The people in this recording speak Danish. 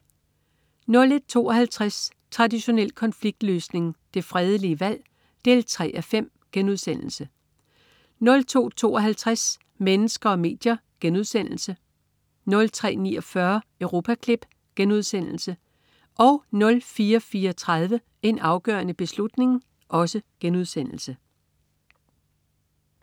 01.52 Traditionel konfliktløsning. Det fredelige valg 3:5* 02.52 Mennesker og medier* 03.49 Europaklip* 04.34 En afgørende beslutning*